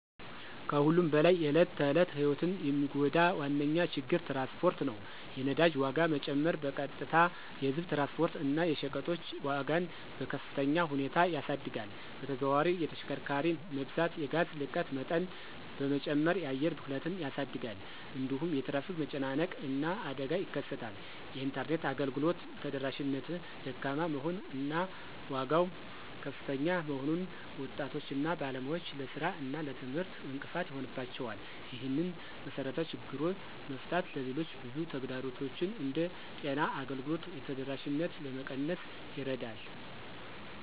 ከሁሉም በላይ የዕለት ተዕለት ሕይወትን የሚጎዳ ዋነኛ ችግር ትራንስፖርት ነው። የነዳጅ ዋጋ መጨመር በቀጥታ የህዝብ ትራንስፖርት እና የሸቀጦች ዋጋን በከፍተኛ ሁኔታ ያሳድጋል። በተዘዋዋሪ የተሽከርካሪ መብዛት የጋዝ ልቀት መጠን በመጨመር የአየር ብክለትን ያሳድጋል። እንዲሁም የትራፊክ መጨናነቅ እና አደጋ ይከሰታል። የኢንተርኔት አገልግሎት ተደራሽነት ደካማ መሆን እና ዋጋው ከፍተኛ መሆኑን ወጣቶች እና ባለሙያዎች ለሥራ እና ለትምህርት እንቅፋት ይሆንባቸዋል። ይህንን መሰረታዊ ችግር መፍታት ሌሎች ብዙ ተግዳሮቶችን እንደ ጤና አገልግሎት ተደራሽነት ለመቀነስ ይረዳል።